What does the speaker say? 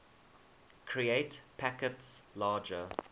create packets larger